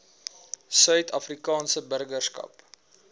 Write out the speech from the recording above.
suid afrikaanse burgerskap